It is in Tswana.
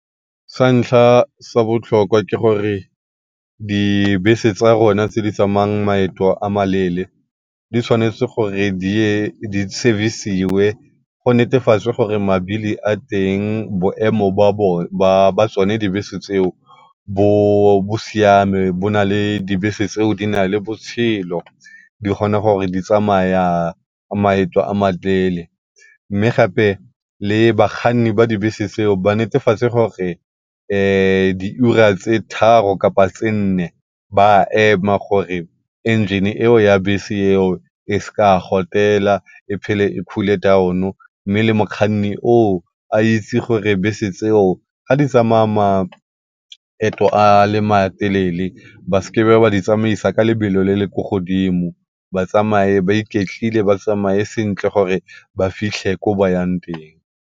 Sa ntlha sa botlhokwa ke gore dibese tsa rona tse di tsamayang maeto a ma leele di tshwanetse gore di service-siwe go netefatswe gore a teng, boemo jwa tsone dibese tseo bo siame dibese tseo di na le botshelo di kgona gore di tsamaya maeto a . Mme gape le bakganni ba dibese tseo ba netefatse di ura tse tharo kapa tse nne ba ema gore engine eo ya bese eo e sa gotela e phele e cool-e down-o. Mme le mokgwanni a itse gore dibese tseo ga di tsamaya maeto a matelele ba seke ba di tsamaisa ka lebelo le le ko godimo, ba tsamaye ba iketlile ba tsamaye sentle gore ba fitlhe ko ba yang teng.